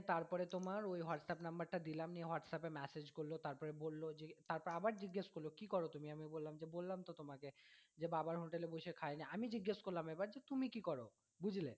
তারপরে তোমার ওই whatsapp number টা দিলাম নিয়ে whatsapp এ message করলো তারপরে বললো যে তারপরে আবার জিজ্ঞেস করলো কি করো তুমি আমি বললাম যে বললাম তো তোমাকে যে বাবার hotel এ বসে খাই না আমি জিজ্ঞেস করলাম এবার যে তুমি কি করো বুঝলে?